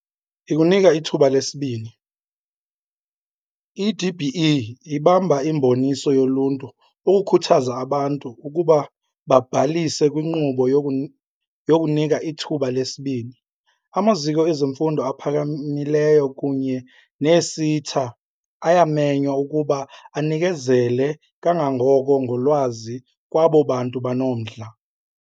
Ikunika ithuba lesibini. I-DBE ibamba imiboniso yoluntu ukukhuthaza abantu ukuba babhalise kwinkqubo yokuNika iThuba leSibini. Amaziko ezemfundo aphakamileyo kunye nee-SETA ayamenywa ukuba anikezele kangangoko ngolwazi kwabo bantu banomdla.